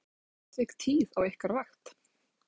Þorbjörn: Eru svona atvik tíð á ykkar vakt?